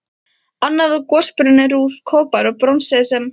Annað er gosbrunnur úr kopar og bronsi sem